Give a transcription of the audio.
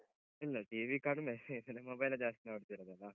ಇಲ್ಲ TV ಕಡಿಮೆ mobile ಎ ಜಾಸ್ತಿ ನೋಡ್ತೀರೊದಲ್ಲ.